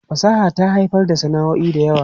Fasaha ta haifar da sana'o'i da yawa.